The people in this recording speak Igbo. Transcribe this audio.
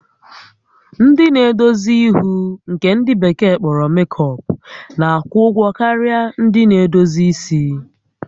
Ndị na-edozi ihu nke ndị bekee kpọrọ makeup na-akwụ ụgwọ karịa ndị na-edozi isi